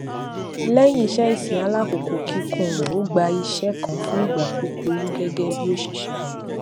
léyìn iṣé ìsìn alákòókò kíkún rè ó gba iṣé kan fún ìgbà kúkúrú gégé bí òṣìṣé